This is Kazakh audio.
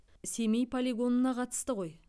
семей полигонына қатысты ғой